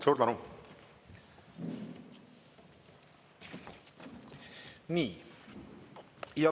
Suur tänu!